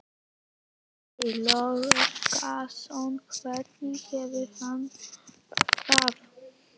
Breki Logason: Hvernig hefur hann það?